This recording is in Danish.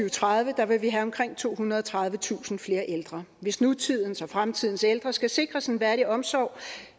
og tredive vil vi have omkring tohundrede og tredivetusind flere ældre hvis nutidens og fremtidens ældre skal sikres en værdig omsorg